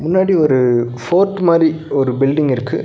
பின்னாடி ஒரு ஃபோர்ட் மாரி ஒரு பில்டிங் இருக்கு.